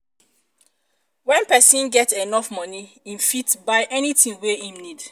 when persin get enough money im fit buy anything wey im need